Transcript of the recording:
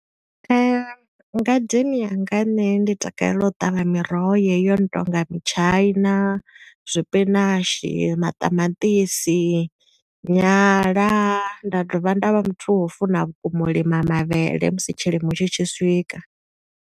Ngadeni yanga nṋe ndi takalela u ṱavha miroho yeyo yo no tonga mitshaina, zwipinashi, maṱamaṱisi, nyala. Nda dovha nda vha muthu wa u funa vhukuma u lima mavhele musi tshilimo tshi tshi swika.